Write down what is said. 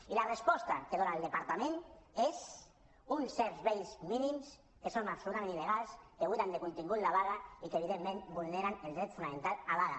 i la resposta que dona el departament és uns serveis mínims que són absolutament il·legals que buiden de contingut la vaga i que evidentment vulneren el dret fonamental a vaga